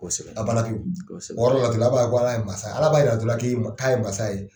Ala b'a yira dɔ la k'a ye mansa ye